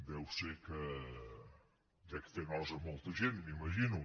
deu ser que dec fer nosa a molta gent m’imagino